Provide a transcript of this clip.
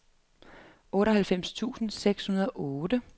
otteoghalvfems tusind seks hundrede og otte